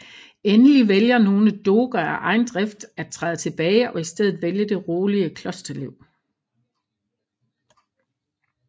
Endelig vælger nogle doger af egen drift at træde tilbage og i stedet vælge det rolige klosterliv